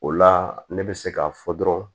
O la ne bɛ se k'a fɔ dɔrɔn